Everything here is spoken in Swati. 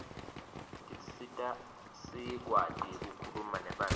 tisisita sikuati kukhuluma nebantfu